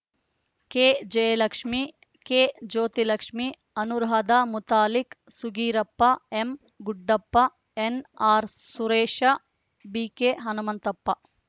K Jayalakshmi ಕೆಜ್ಯೋತಿಲಕ್ಷ್ಮಿ Anuradha Muthalik ಸುಗೀರಪ್ಪ ಎಂಗುಡ್ಡಪ್ಪ ಎನ್‌ಆರ್‌ಸುರೇಶ ಬಿಕೆಹನುಮಂತಪ್ಪ